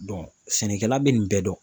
sɛnɛkɛla bɛ nin bɛɛ dɔn